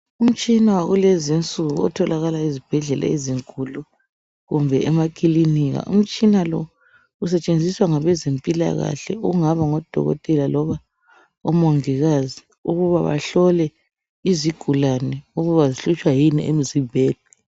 Umtshina wakulezi insuku otholakala ezibhedlela ezinkulu kumbe emakilinika. Umtshina lo usetshenziswa ngabe zempilakahle okungaba ngodokotela loba omongikazi ukuba bahlole izigulane ukuba zihlutshwa yini emzimbeni.